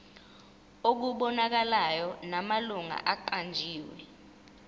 okubonakalayo namalungu aqanjiwe